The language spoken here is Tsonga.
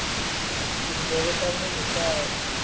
tindleve ta munhu ta twa